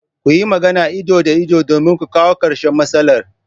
Kuyi magana ido da ido domin ku kawo karshen matsalar.